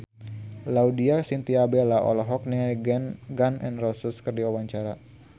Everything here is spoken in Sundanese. Laudya Chintya Bella olohok ningali Gun N Roses keur diwawancara